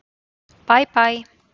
Bæ Bæ.